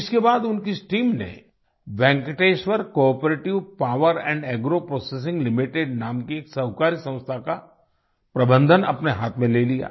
इसके बाद उनकी इस टीम ने Venkateshwara cooperative power agro processing Limitedनाम की एक सहकारी संस्था का प्रबंधन अपने हाथ में ले लिया